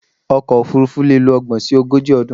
Ọkọ̀ òfurufú leè lo ogbòn si ogójì ọdún